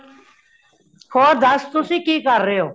ਹੋਰ ਦਾਸ ਤੁਸੀਂ ਕਿ ਕਾਰ ਰਹੇ ਹੋ